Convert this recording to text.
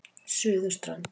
Suðurströnd